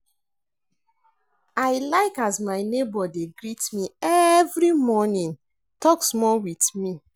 I like as my nebor dey greet me every morning tok small wit me.